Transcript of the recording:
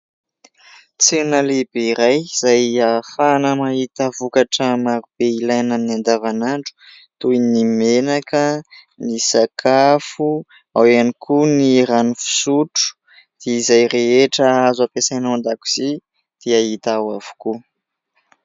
Tsena lehibe iray izay ahafahana mahita vokatra maro be ilaina amin'ny andavanandro toy ny menaka, ny sakafo, ao ihany koa ny rano fisotro, dia izay rehetra azo ampiasaina ao an-dakozia dia hita ao avokoa.